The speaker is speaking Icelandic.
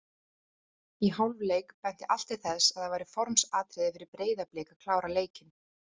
Í hálfleik benti allt til þess að það væri formsatriði fyrir Breiðablik að klára leikinn.